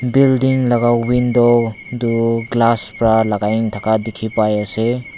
Building laga window tuh glass para lagai na thaka dekhi pa ase.